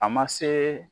A ma se